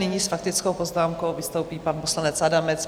Nyní s faktickou poznámkou vystoupí pan poslanec Adamec.